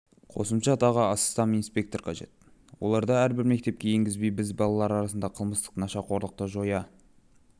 қосымша тағы астам инспектор қажет оларды әрбір мектепке енгізбей біз балалар арасындағы қылмысты нашақорлықты жоя